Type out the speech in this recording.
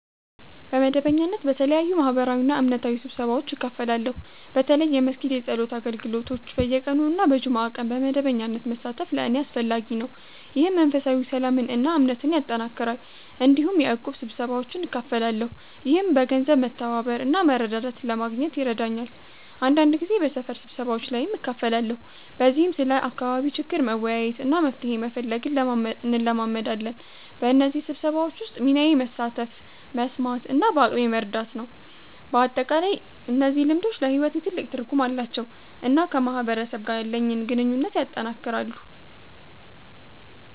በመደበኛነት በተለያዩ ማህበራዊና እምነታዊ ስብሰባዎች እካፈላለሁ። በተለይ የመስጊድ የጸሎት አገልግሎቶች በየቀኑ እና በጁምዓ ቀን በመደበኛነት መሳተፍ ለእኔ አስፈላጊ ነው፣ ይህም መንፈሳዊ ሰላምን እና እምነትን ያጠናክራል። እንዲሁም በእቁብ ስብሰባዎች እካፈላለሁ፣ ይህም በገንዘብ መተባበር እና መረዳዳት ለማግኘት ይረዳኛል። አንዳንድ ጊዜ በሰፈር ስብሰባዎች ላይም እካፈላለሁ፣ በዚህም ስለ አካባቢ ችግር መወያየት እና መፍትሄ መፈለግ እንለማመዳለን። በእነዚህ ስብሰባዎች ውስጥ ሚናዬ መሳተፍ፣ መስማት እና በአቅሜ መርዳት ነው። በአጠቃላይ እነዚህ ልምዶች ለሕይወቴ ትልቅ ትርጉም አላቸው እና ከማህበረሰብ ጋር ያለኝን ግንኙነት ያጠናክራሉ።